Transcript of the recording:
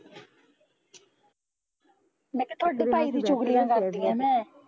ਮੈਂ ਕਿਹਾ ਤੁਹਾਡੇ ਭਾਈ ਦੀ ਚੁਗਲੀਆਂ ਕਰਦੀ ਆ ਮੈਂ